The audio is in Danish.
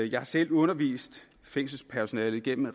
jeg har selv undervist fængselspersonale igennem